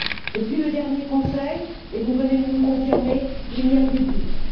Depuis le dernier Conseil et vous venez de nous le confirmer il n'y a plus de doute.